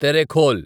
Terekhol